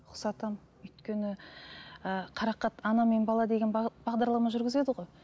ұқсатамын өйткені ііі қарақат ана мен бала деген бағдарлама жүргізеді ғой